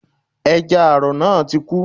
Ẹja àrọ̀ náà ti kú